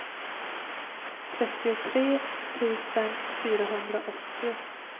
trettiotre tusen fyrahundraåttio